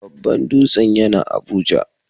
Babban dutsen yana Abuja.